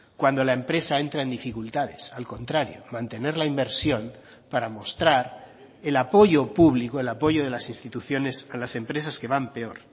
cuando la empresa entra en dificultades al contrario mantener la inversión para mostrar el apoyo público el apoyo de las instituciones a las empresas que van peor